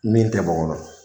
Min tɛ bɔ un kɔnɔ.